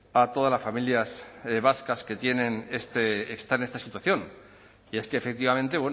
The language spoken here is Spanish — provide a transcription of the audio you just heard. a todas las familias vascas que tienen están en esta situación y es que efectivamente